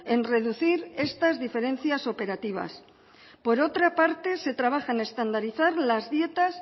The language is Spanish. en reducir estas diferencias operativas por otra parte se trabaja en estandarizar las dietas